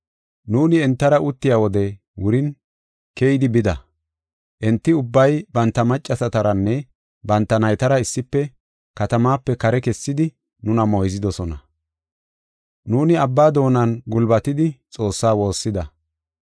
Nuuni entara uttiya wodey wurin keyidi bida. Enti ubbay banta maccasataranne banta naytara issife katamaape kare kessidi nuna moyzidosona. Nuuni abba doonan gulbatidi Xoossaa woossida.